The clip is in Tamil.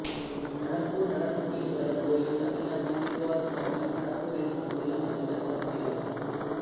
நடப்பூர் நடனபுரீஷ்வரர் கோயில் தமிழ்நாட்டில் திருவாரூர் மாவட்டம் நடப்பூர் என்னும் ஊரில் அமைந்துள்ள சிவன் கோயிலாகும்